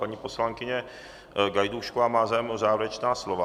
Paní poslankyně Gajdůšková má zájem o závěrečná slova.